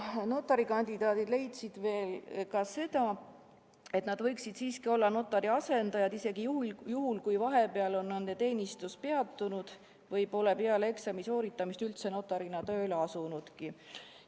Notari kandidaadid leidsid ka seda, et kandidaadid võiksid olla notari asendajad isegi juhul, kui vahepeal on nende teenistus peatunud või kui nad pole peale eksami sooritamist üldse notarina tööle asunudki.